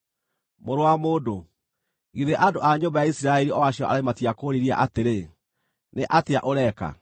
“Mũrũ wa mũndũ, githĩ andũ a nyũmba ya Isiraeli o acio aremi matiakũũririe atĩrĩ, ‘Nĩ atĩa ũreka?’